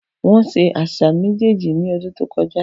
Wọ́n ṣe àṣà méjèèjì ní ọdún tó kọjá.